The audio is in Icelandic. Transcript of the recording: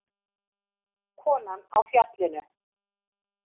Konan á Fjallinu.